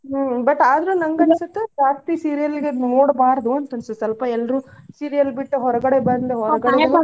ಹ್ಮ್ but ಆದ್ರೂ ನನ್ಗ ಅನ್ಸುತ್ತ ಜಾಸ್ತಿ serial ಗ ನೋಡ್ಬಾರದು ಅಂತ್ ಅನ್ಸುತ್ ಸ್ವಲ್ಪ ಎಲ್ರೂ serials ಬಿಟ್ಟ ಹೊರ್ಗಡೆ ಬಂದ್ ಹೊರ್ಗಡೆದನ್ನೂ ಸ್ವಲ್ಪ .